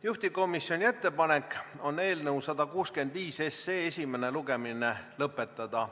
Juhtivkomisjoni ettepanek on eelnõu 165 esimene lugemine lõpetada.